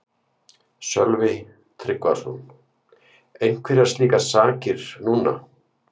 Sölvi Tryggvason: Einhverjar slíkar sakir núna?